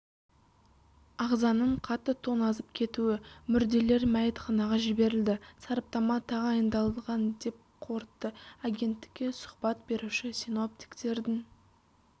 ағзаның қатты тоңазып кетуі мүрделер мәйітханаға жіберілді сараптама тағайындалған деп қорытты агенттікке сұхбат беруші синоптиктердің